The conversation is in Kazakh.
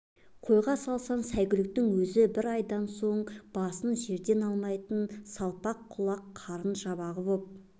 қойға салсаң сәйгүліктің өзі бір айдан соң басын жерден алмайтын салпаң құлақ қарын жабы болып